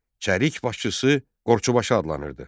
Çərik başçısı Qorçubaşı adlanırdı.